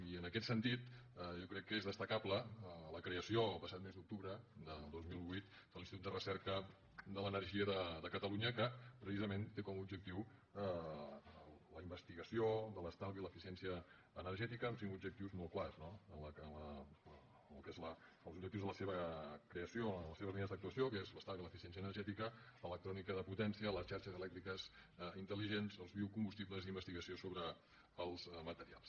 i en aquest sentit jo crec que és destacable la creació el passat mes d’octubre del dos mil vuit de l’institut de recerca de l’energia de catalu·nya que precisament té com a objectiu la investigació de l’estalvi i l’eficiència energètica amb cinc objectius molt clars no en el que són els objectius de la seva creació les seves línies d’actuació que són l’estalvi i l’eficiència energètica l’electrònica de potència les xarxes elèctriques intel·ligents els biocombustibles i la investigació sobre els materials